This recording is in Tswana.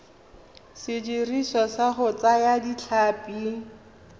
sediriswa sa go thaya ditlhapi